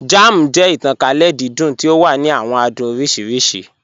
Jam jẹ̀ ìtànkálẹ̀ dídùn tí o wà ní àwọn àdùn oríṣiríṣì.